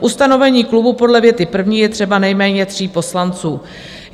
K ustavení klubu podle věty první je třeba nejméně 3 poslanců."